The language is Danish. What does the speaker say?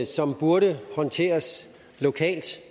som burde håndteres lokalt